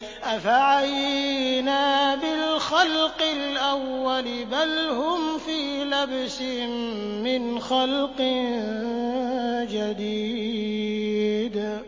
أَفَعَيِينَا بِالْخَلْقِ الْأَوَّلِ ۚ بَلْ هُمْ فِي لَبْسٍ مِّنْ خَلْقٍ جَدِيدٍ